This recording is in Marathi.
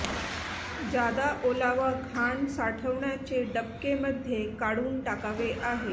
जादा ओलावा घाण साठवण्याचे डबके मध्ये काढून टाकावे आहे